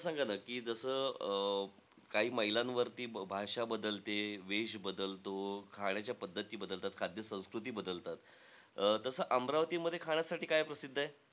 मला सांगा ना कि जसं अं काही मैलांवरती भाषा बदलते, वेष बदलतो, खाण्याच्या पद्धती बदलतात, खाद्य-संस्कृती बदलतात. अं तसं अमरावतीमध्ये खाण्यासाठी काय प्रसिद्ध आहे?